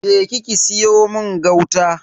Je ki ki siyo mun gauta.